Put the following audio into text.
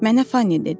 Mənə Fannie dedi.